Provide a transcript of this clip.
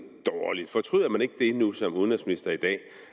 dårligt fortryder man ikke det nu som udenrigsminister i dag